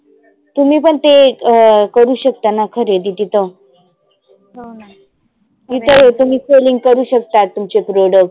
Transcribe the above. तुम्ही पण ते अं करु शकताना खरिदी तिथं तिथं हे तुम्ही selling करु शकता तुमचे product